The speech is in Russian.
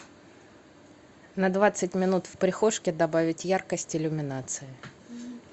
на двадцать минут в прихожке добавить яркость иллюминации